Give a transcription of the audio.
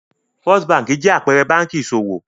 First Báńkì jẹ́ àpẹẹrẹ báńkì ìṣòwò.